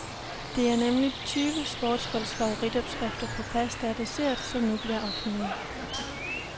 Det er nemlig tyve sportsfolks favoritopskrifter på pasta og dessert, som nu bliver offentlige.